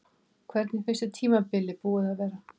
Hvernig finnst þér tímabilið búið að vera?